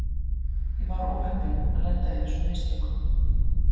Ég var óheppinn að lenda í þessum mistökum.